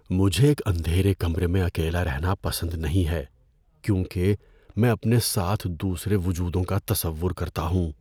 مجھے ایک اندھیرے کمرے میں اکیلا رہنا پسند نہیں ہے کیونکہ میں اپنے ساتھ دوسرے وجودوں کا تصور کرتا ہوں۔